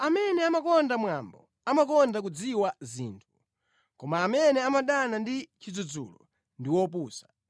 Munthu amene amakonda mwambo amakonda kudziwa zinthu, koma amene amadana ndi chidzudzulo ndi wopusa.